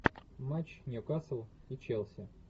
матч ньюкасл и челси